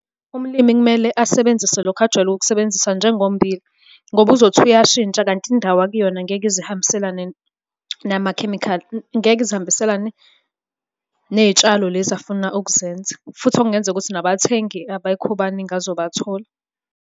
Umlimi kumele asebenzise lokhu ajwayele ukukusebenzisa njengommbila, ngoba uzothi uyashintsha kanti indawo akuyona ngeke ize ihambiselane namakhemikhali. Ngeke ize ihambiselane ney'tshalo lezi afuna ukuzenza, futhi okungenzeka ukuthi nabathengi abekho baningi azobathola.